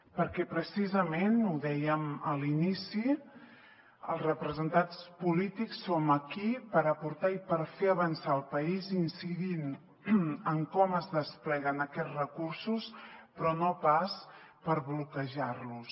perquè precisament ho dèiem a l’inici els representats polítics som aquí per aportar i per fer avançar el país incidint en com es despleguen aquests recursos però no pas per bloquejar los